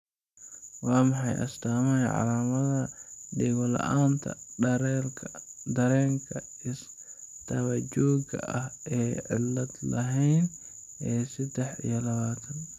Waa maxay astaamaha iyo calaamadaha Dhego-la'aanta, dareenka is-daba-joogga ah ee aan cillad lahayn ee sedex iyo labatan?